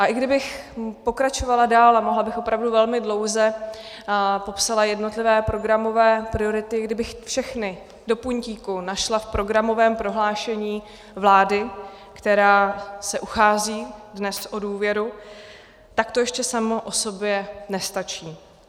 A i kdybych pokračovala dál, mohla bych opravdu velmi dlouze, a popsala jednotlivé programové priority, kdybych všechny do puntíku našla v programovém prohlášení vlády, která se uchází dnes o důvěru, tak to ještě samo o sobě nestačí.